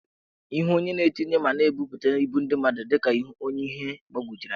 Ihu onye na-etinye ma na-ebuputa ibu ndị mmadụ dị ka ọnye ihe gbawojuru anya.